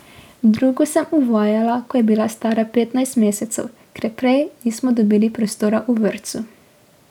Drugo sem uvajala, ko je bila stara petnajst mesecev, ker prej nismo dobili prostora v vrtcu.